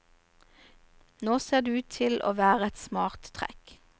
Nå ser det ut til å være et smart trekk.